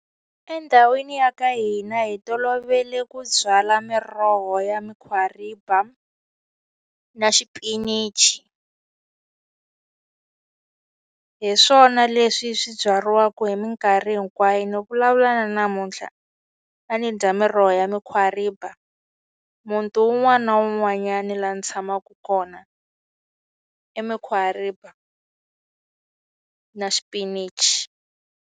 Endhawini ya ka hina hi tolovele ku byala miroho ya mukhwariba, na xipinichi. Hi swona leswi swi byariwaka hi minkarhi hinkwayo, ni vulavula na namuntlha a ndzi dya miroho ya mukhwariba. Muti un'wana na un'wanyana laha ni tshamaka kona i mukhwariba na xipinichi.